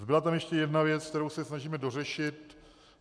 Zbyla tam ještě jedna věc, kterou se snažíme dořešit.